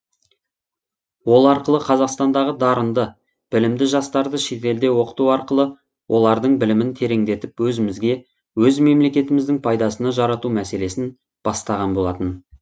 ол арқылы қазақстандағы дарынды білімді жастарды шетелде оқыту арқылы олардың білімін тереңдетіп өзімізге өз мемлекетіміздің пайдасына жарату мәселесін бастаған болатын